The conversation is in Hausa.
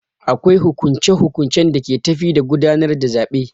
Akwai hukunce hukuncen da ke tafi da gudanar da zaɓe.